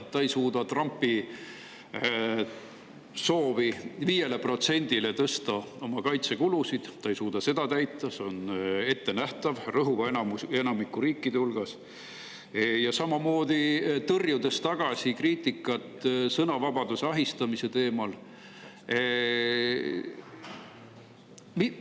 Ta ei suuda täita Trumpi soovi tõsta kaitsekulud 5%-le – see on ettenähtav rõhuva enamiku riikide puhul – ja samamoodi tõrjub tagasi kriitikat sõnavabaduse ahistamise teemal.